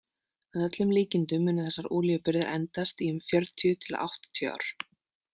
Að öllum líkindum munu þessar olíubirgðir endast í um fjörutíu til áttatíu ár.